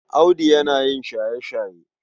Audu yana yin shaye-shaye.